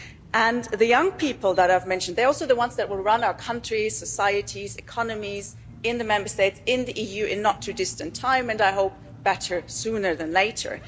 And the young people that I've mentioned they are also the ones that will run our countries, societies, economies, in the Member States, in the EU, in the not too distant future and I think it is better sooner than later.